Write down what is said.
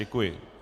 Děkuji.